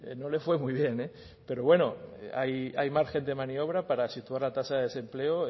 no le fue muy bien eh pero bueno hay margen de maniobra para situar la tasa de desempleo